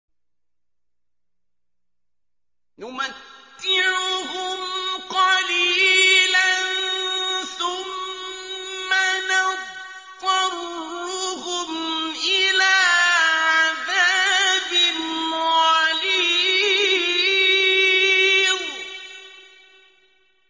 نُمَتِّعُهُمْ قَلِيلًا ثُمَّ نَضْطَرُّهُمْ إِلَىٰ عَذَابٍ غَلِيظٍ